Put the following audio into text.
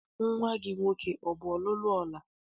Nnwa gị nwoke ọ lụọla nwaanyị?